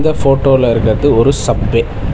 இந்த ஃபோட்டோல இருக்குறது ஒரு சப்வே .